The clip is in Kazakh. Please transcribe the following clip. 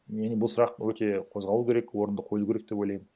бұл сұрақ өте қозғалу керек орынды қойылу керек деп ойлаймын